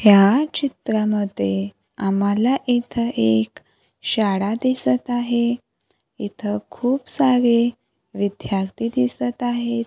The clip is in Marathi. या चित्रामध्ये आम्हाला इथे एक शाळा दिसत आहे इथं खूप सारे विद्यार्थी दिसत आहेत.